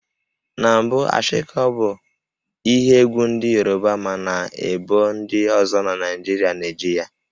Na mbụ Ashiko bụ ihe egwú ndị Yoruba mana ebo ndi ozo na Naịjirịa na-eji ya